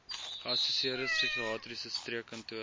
geassosieerde psigiatriese streekkantoor